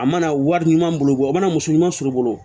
A mana wari ɲuman bolo o mana muso ɲuman suru bolo